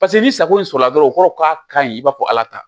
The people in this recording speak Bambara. Paseke ni sago in sɔrɔla dɔrɔn o kɔrɔ k'a kaɲi i b'a fɔ ala ta